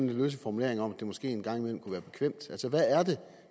løse formuleringer om at det måske en gang imellem kunne være bekvemt hvad er det